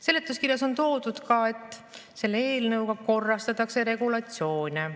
Seletuskirjas on veel toodud, et selle eelnõuga korrastatakse regulatsioone.